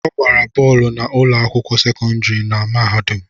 Ọ gbara bọọlụ na ụlọ akwụkwọ sekọndrị na mahadum